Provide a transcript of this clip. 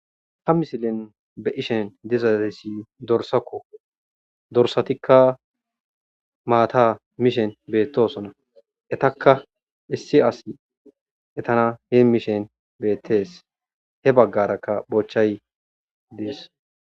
Ha misilen be ishen dizatisi dorsakko dorsatikka maata mishen beettosona etakka issi asi etana hee mishen beettees he baggarakka bochay dees.